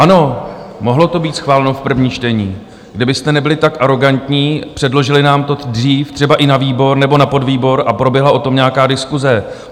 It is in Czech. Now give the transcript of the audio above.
Ano, mohlo to být schváleno v prvním čtení, kdybyste nebyli tak arogantní, předložili nám to dřív třeba i na výbor nebo na podvýbor a proběhla o tom nějaká diskuse.